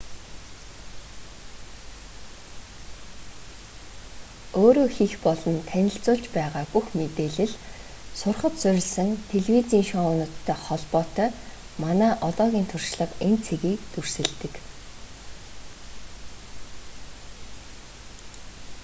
өөрөө хийх болон танилцуулж байгаа бүх мэдээлэл сурахад суурилсан телевизийн шоунуудтай холбоотой манай одоогийн туршлага энэ цэгийг дүрсэлдэг